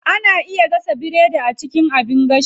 Ana iya gasa biredi a cikin abin gashi.